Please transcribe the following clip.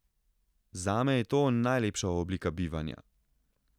Zame je to najlepša oblika bivanja.